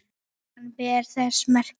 Hann ber þess merki